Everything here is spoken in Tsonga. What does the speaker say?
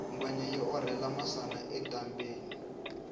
ngwenya yi orhela masana etambheni